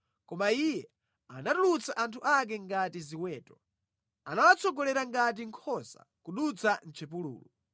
Koma Iye anatulutsa anthu ake ngati ziweto; anawatsogolera ngati nkhosa kudutsa mʼchipululu.